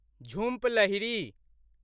Jhumpa Lahiri